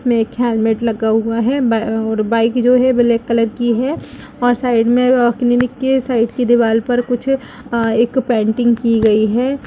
इसमें एक हेलमेट लगा हुआ है और ब बाइक जो है ब्लैक कलर की है और साइड में अ क्लिनिक के साइड के दिवाल (दीवार) पर कुछ अ एक पेंटिंग की गई है।